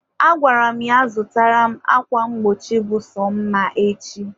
agwara m ya zụtara m akwa mgbochi bụ sọ mma echi.